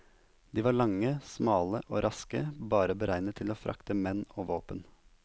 De var lange, smale og raske, bare beregnet til å frakte menn og våpen.